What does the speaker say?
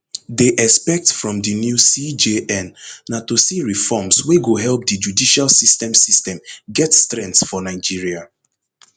dey expect from di new cjn na to see reforms wey go help di judicial system system get strength for nigeria